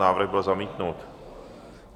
Návrh byl zamítnut.